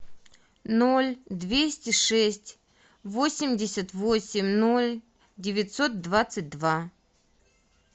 ноль двести шесть восемьдесят восемь ноль девятьсот двадцать два